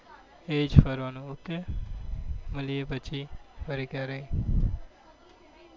એ જ ફરવાનું ઓકે મળીએ પછી ફરી ક્યારે.